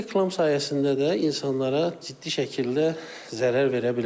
Bu reklam sayəsində də insanlara ciddi şəkildə zərər verə bilirlər.